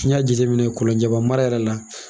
N'i y'a jate minɛ Kolonjɛba mara la.